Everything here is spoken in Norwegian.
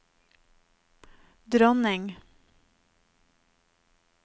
dronning